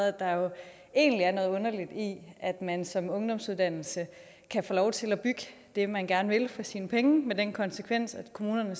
at der jo egentlig er noget underligt i at man som ungdomsuddannelse kan få lov til at bygge det man gerne vil for sine penge med den konsekvens at kommunerne